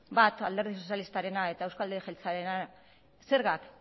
bat alderdi sozialistarena eta euzko alderdi jeltzalearena zergak